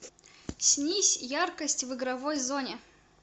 снизь яркость в игровой зоне